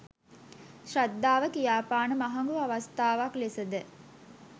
ශ්‍රද්ධාව කියාපාන මහඟු අවස්ථාවක් ලෙසද